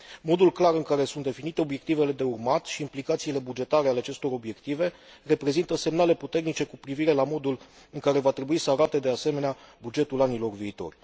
Modul clar în care sunt definite obiectivele de urmat și implicațiile bugetare ale acestor obiective reprezintă semnale puternice cu privire la modul în care va trebui să arate, de asemenea, bugetul anilor viitori.